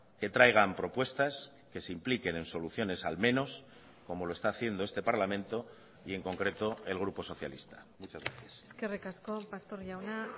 que traigan propuestas que se impliquen en soluciones al menos como lo está haciendo este parlamento y en concreto el grupo socialista muchas gracias eskerrik asko pastor jauna